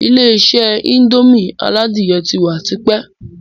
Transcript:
Ilé-isé indomie aládìyẹ ti wà tipẹ́